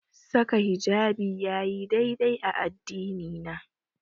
Saka hijabi yayi dai-dai da addini na.